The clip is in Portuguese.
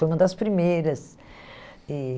Foi uma das primeiras. E